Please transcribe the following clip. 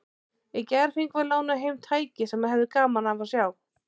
Í gær fengum við lánað heim tæki sem þú hefðir gaman af að sjá.